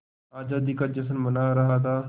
आज़ादी का जश्न मना रहा था